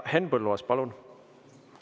Henn Põlluaas, palun!